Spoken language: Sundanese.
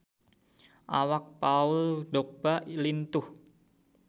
Awak Paul Dogba lintuh